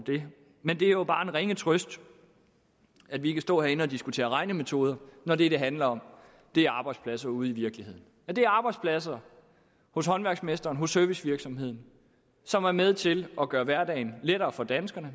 det men det er jo bare en ringe trøst at vi kan stå herinde og diskutere regnemetoder når det det handler om er arbejdspladser ude i virkeligheden og det er arbejdspladser hos håndværksmesteren hos servicevirksomheden som er med til at gøre hverdagen lettere for danskerne